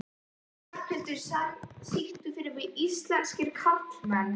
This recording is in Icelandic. Ráðhildur, syngdu fyrir mig „Íslenskir karlmenn“.